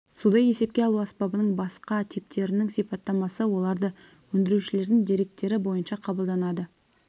суды есепке алу аспабының басқа типтерінің сипаттамасы оларды өндірушілердің деректері бойынша қабылданады